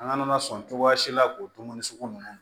An ka na sɔn cogoya si la k'o dumuni sugu ninnu